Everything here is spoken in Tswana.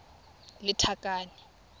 lethakane